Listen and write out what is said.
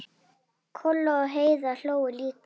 Kolla og Heiða hlógu líka.